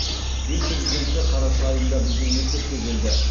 ел президенті қараша айында біздің мектепке келді